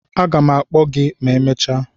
a ga m akpo gi ma emechaa.